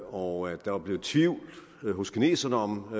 og der var blevet tvivl hos kineserne om